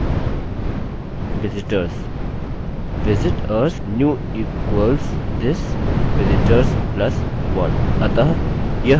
visitors new equals this vistors plus 1